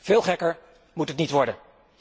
Veel gekker moet het niet worden.